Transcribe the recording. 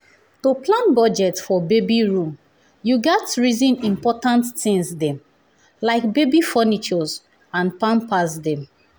to plan budget for baby room you gats reson important tins dem like baby furnitures and pampers dem.